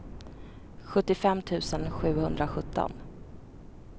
sjuttiofem tusen sjuhundrasjutton